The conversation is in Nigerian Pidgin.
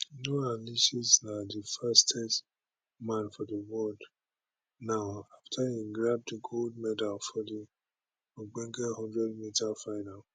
noah lyles na di fastest man for di world now afta e grab di gold medal for di ogbonge 100m final